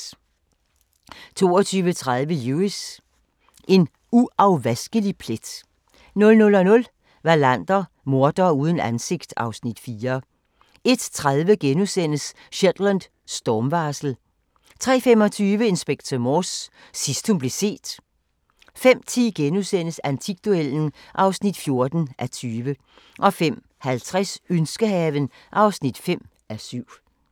22:30: Lewis: En uafvaskelig plet 00:00: Wallander: Mordere uden ansigt (Afs. 4) 01:30: Shetland: Stormvarsel * 03:25: Inspector Morse: Sidst hun blev set 05:10: Antikduellen (14:20)* 05:50: Ønskehaven (5:7)